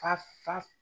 Fa fa